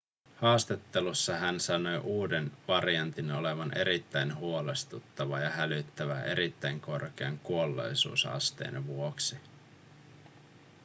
haastattelussa hän sanoi uuden variantin olevan erittäin huolestuttava ja hälyttävä erittäin korkean kuolleisuusasteen vuoksi